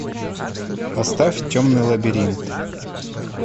поставь темный лабиринт